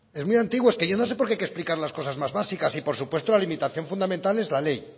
es muy antiguo es que yo no sé por qué hay que explicar las cosas más básicas y por supuesto la limitación fundamental es la ley